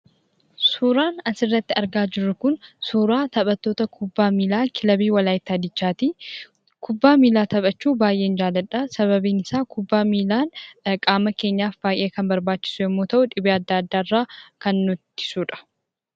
Suuraa kanaa gadii irratti kan argamu kun suuraa taphattoota kubbaa miillaa Waalaayittaa Diichaati. Anis kubbaa miillaa taphachuu baayyeen jaalladha. Sababni isaas dhibee addaa addaa irraa waan nu eeguuf.